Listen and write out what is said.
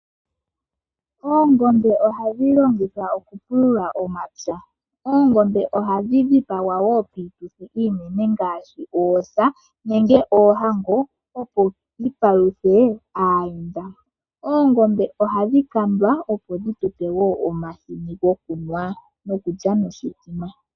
Oongombe ohadhi longithwa okupulula omapya, ongombe ohadhi dhipagwa wo piituthi iinene ngaashi oosa nenge oohango opo dhi paluthe aayenda. Oongombe ohadhi kandwa opo dhi tupe omahini gokunwa nokulya noshithima.